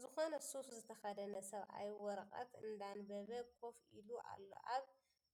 ዝኮነ ሱፍ ዝተከደነ ሰብአይ ወረቀት እንዳንበበ ኮፍ ኢሉ ኣሎ ኣብ